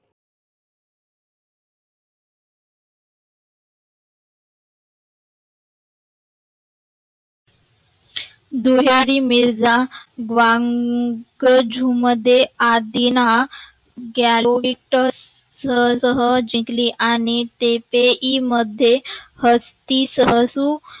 दुहेरी मिर्झा vankajhu मध्ये आधीना ग्याराहोटट्स मध्ये जिंकली.